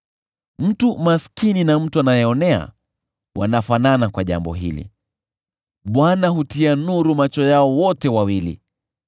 Mtu maskini na mtu anayeonea wanafanana kwa jambo hili: Bwana hutia nuru macho yao wote wawili.